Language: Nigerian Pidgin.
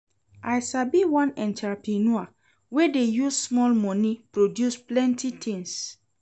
I sabi one entreprenuer wey dey use small moni produce plenty tins.